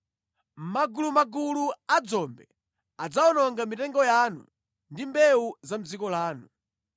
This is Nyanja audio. Magulumagulu a dzombe adzawononga mitengo yanu ndi mbewu za mʼdziko lanu.